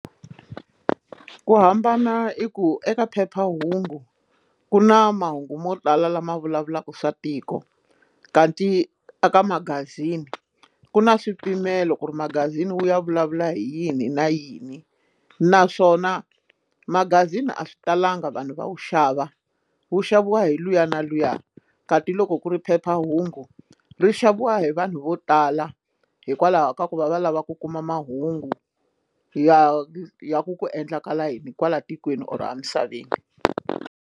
Ku hambana i ku eka phephahungu ku na mahungu mo tala lama vulavulaka swa tiko kanti eka magazini ku na swipimelo ku ri magazini wu ya vulavula hi yini na yini naswona magazini a swi talanga vanhu va wu xava wu xaviwa hi luya na luya kati loko ku ri phephahungu ri xaviwa hi vanhu vo tala hikwalaho ka ku va va lava ku kuma mahungu ya ya ku ku endlakala yini kwala tikweni or amisaveni.